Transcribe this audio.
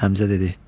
Həmzə dedi: